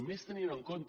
i més tenint en compte